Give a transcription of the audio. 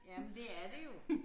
Jamen det er det jo